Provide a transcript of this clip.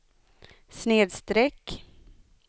snedsträck